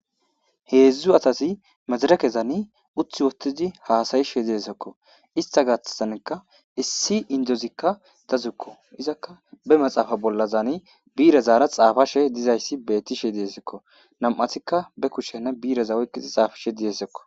Heedzdzu asati Madirekezan utti uttidi hasa'ishe dizaysako. Issita gaathanika issi Indozikaa dazukko. bi'irezan xaapashe dizaysako. Nam'atika be kushshen oyiqidi bi'irezan xaapishe dizaysako.